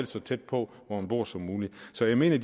så tæt på hvor man bor som muligt så jeg mener